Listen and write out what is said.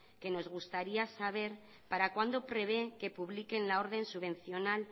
que nos gustaría saber para cuándo prevé que publiquen la orden subvencional